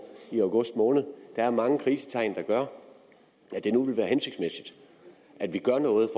i august måned der er mange krisetegn der gør at det nu vil være hensigtsmæssigt at vi gør noget